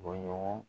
Bɔɲɔgɔn